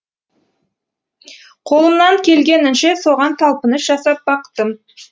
қолымнан келгенінше соған талпыныс жасап бақтым